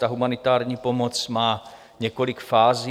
Ta humanitární pomoc má několik fází.